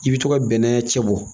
I bɛ to ka bɛnɛ cɛ bɔ